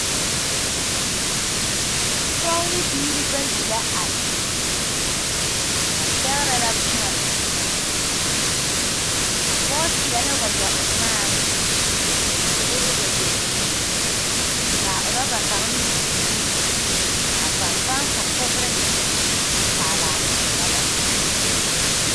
Pɔge ne biire bayi la a zeŋ ba pɛgrɛ la boma a pɔge seɛ la wagyɛ o nyaaŋ koo e wagyɛ bluu kaa rɔba kaŋ meŋ e bluu kaa fanfan fufukire a paalaa rɔba zaa.